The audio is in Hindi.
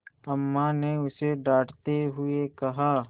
अम्मा ने उसे डाँटते हुए कहा